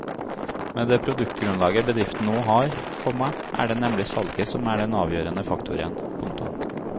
Med det produktgrunnlaget bedriften nå har, komma er det nemlig salget som er den avgjørende faktoren. punktum